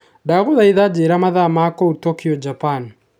Ndagũthaitha njĩĩra mathaa ma kũu Tokyo Japan